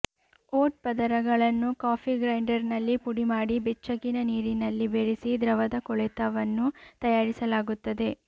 vote ಪದರಗಳನ್ನು coffee ಗ್ರೈಂಡರ್ನಲ್ಲಿ ಪುಡಿಮಾಡಿ ಬೆಚ್ಚಗಿನ ನೀರಿನಲ್ಲಿ ಬೆರೆಸಿ ದ್ರವದ ಕೊಳೆತವನ್ನು ತಯಾರಿಸಲಾಗುತ್ತದೆ